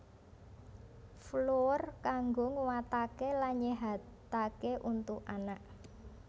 Flour kanggo nguatake lan nyehatake untu anak